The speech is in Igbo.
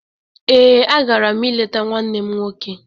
Ee, a gara m ileta nwanne m nwoke.